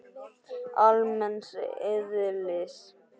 almenns eðlis.